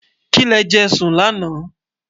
kí lè jé sùn lànà